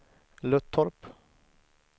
Löttorp